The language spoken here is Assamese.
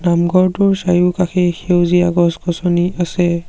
নামঘৰটোৰ চাৰিওকাষে সেউজীয়া গছ-গছনি আছে।